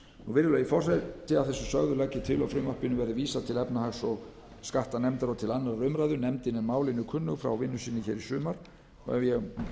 virðulegi forseti að þessu sögðu legg ég til að frumvarpinu verði vísað til efnahags og skattanefndar og til annarrar umræðu nefndin er málinu kunnug frá vinnu sinni í sumar og ef ég